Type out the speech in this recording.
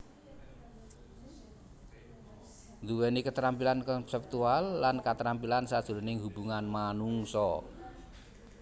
Ndhuweni ketrampilan konseptual lan katrampilan sajroning hubungan manungsa